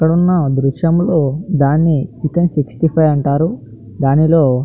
ఇక్కడ ఉన్న దృశ్యంలో దాని చికెన్ సిక్స్టీ ఫైవ్ అంటారు. దానిలో --